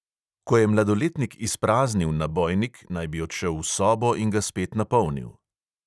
Ko je mladoletnik izpraznil nabojnik, naj bi odšel v sobo in ga spet napolnil.